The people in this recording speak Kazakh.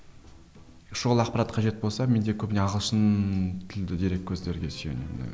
шұғыл ақпарат қажет болса мен тек көбіне ағылшын тілді дереккөздерге сүйенемін